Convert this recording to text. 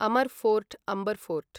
अमर् fort Amber fort